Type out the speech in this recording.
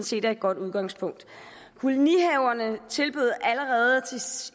set er et godt udgangspunkt kolonihaverne tilbød allerede